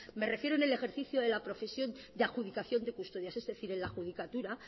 me refiero en el ejercicio de la profesión de adjudicación de custodias es decir en la judicatura